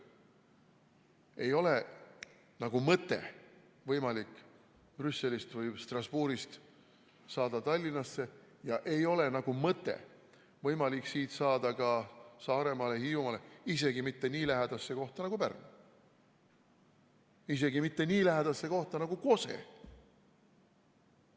Ei ole nagu mõttel võimalik Brüsselist või Strasbourgist saada Tallinnasse ja ei ole nagu mõttel võimalik siit saada ka Saaremaale, Hiiumaale, isegi mitte nii lähedal asuvasse kohta nagu Pärnu, isegi mitte nii lähedal asuvasse kohta nagu Kose.